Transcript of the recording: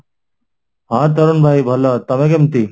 ହଁ, ତରୁଣ ଭାଇ ଭଲ ତେମେ କେମିତି?